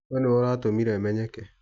We nĩwe ũratũmire menyeke.